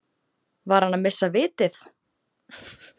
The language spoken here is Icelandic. Var hann að missa vitið?